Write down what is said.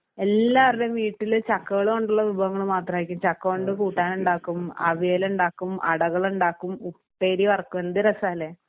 എല്ലാർടെയും വീട്ടില് ചക്കകള് കൊണ്ടുള്ള വിഭവങ്ങള് മാത്രമായിരിക്കും. ചക്ക കൊണ്ട് കൂട്ടാനുണ്ടാക്കും അവിയലുണ്ടാക്കും അടകളുണ്ടാക്കും ഉപ്പേരി വറക്കും എന്ത് രസാല്ലേ?